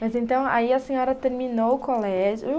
Mas, então, aí a senhora terminou o colégio.